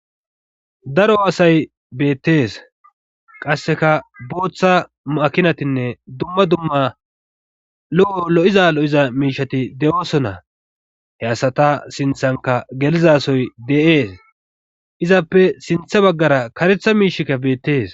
daro aasay beettees qasseka booththa makinatinne dumma dumma lo7o lo7iza lo7iza miishati de7oosona he asata sinthanka gelizasoy de7ees izappe sintha baggara karetha miishikka beettees